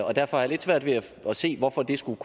og derfor har jeg lidt svært ved at se hvorfor det skulle